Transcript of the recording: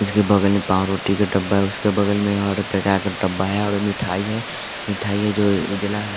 उसके बगल में पांव रोटी का डब्बा है उसके बगल में हर प्रकार का डब्बा है और मिठाई है मिठाईयां जो उजला है।